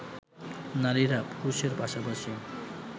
নারীরা পুরুষের পাশাপাশি